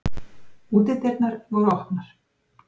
Útidyrnar voru opnar.